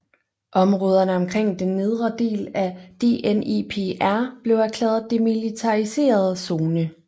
Områderne omkring den nedre del af Dnepr blev erklæret demilitariseret zone